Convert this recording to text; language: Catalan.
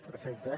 perfecte